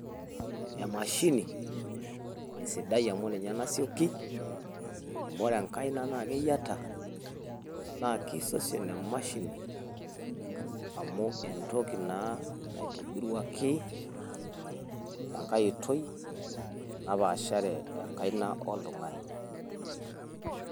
Emashini esidai amu ninye nasioki, amu ore enkaina naa keyiata naa kisosion emashini amu entoki naa naitobiruaki tenkae oitoi napaashare enkaina oltung`ani.